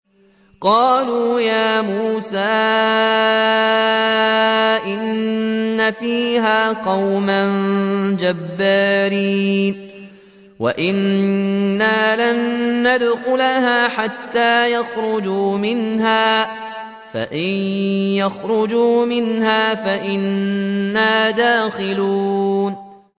قَالُوا يَا مُوسَىٰ إِنَّ فِيهَا قَوْمًا جَبَّارِينَ وَإِنَّا لَن نَّدْخُلَهَا حَتَّىٰ يَخْرُجُوا مِنْهَا فَإِن يَخْرُجُوا مِنْهَا فَإِنَّا دَاخِلُونَ